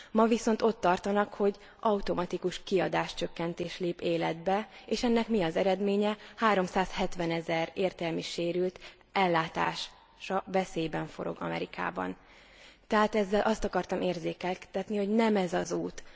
Ma viszont ott tartanak, hogy automatikus kiadáscsökkentés lép életbe, és ennek mi az eredménye? 370 ezer értelmi sérült ellátása veszélyben forog Amerikában. Tehát ezzel azt akartam érzékeltetni, hogy nem ez az út!